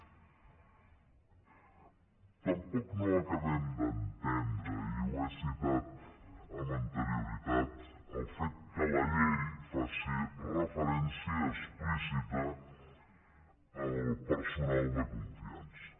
tampoc no acabem d’entendre i ho he citat amb anterioritat el fet que la llei faci referència explícita al personal de confiança